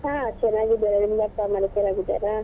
ಹಾ ಚೆನ್ನಾಗಿದ್ದಾರೆ ನಿಮ್ಮ ಅಪ್ಪ ಅಮ್ಮ ಎಲ್ಲ ಚೆನ್ನಾಗಿದ್ದಾರಾ?